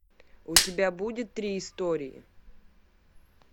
у тебя будет три истории